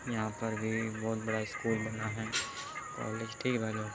यहाँं पर भी बहुत बड़ा स्कूल बना है। --